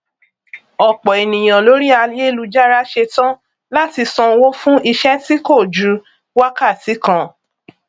ọpọ ènìyàn lórí ayélujára ṣetán láti sanwó fún iṣẹ tí kò ju wákàtí kan